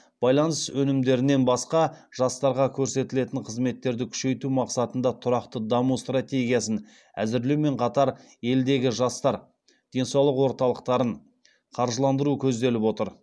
байланыс өнімдерінен басқа жастарға көрсетілетін қызметтерді күшейту мақсатында тұрақты даму стратегиясын әзірлеумен қатар елдегі жастар денсаулық орталықтарын қаржыландыру көзделіп отыр